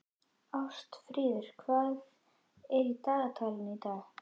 Ásfríður, hvað er í dagatalinu í dag?